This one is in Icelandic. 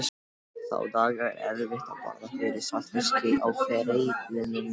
Þá daga er erfitt að bogra yfir saltfiski á fiskreitunum.